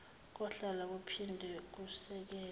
kuhlola kuphinde kusekele